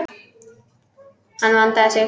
Hann vandaði sig.